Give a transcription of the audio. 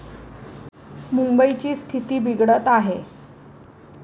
मुंबईची स्थिती बिघडत आहे.